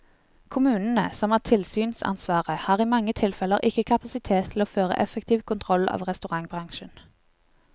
Kommunene, som har tilsynsansvaret, har i mange tilfeller ikke kapasitet til å føre effektiv kontroll av restaurantbransjen.